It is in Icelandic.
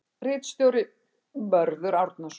Ritstjóri: Mörður Árnason.